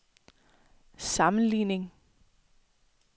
sammenligning